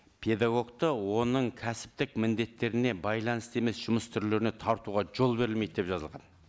педагогты оның кәсіптік міндеттеріне байланысты емес жұмыс түрлеріне тартуға жол берілмейді деп жазылған